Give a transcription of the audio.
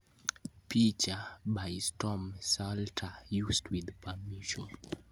picha by Storm Saulter, used with permission.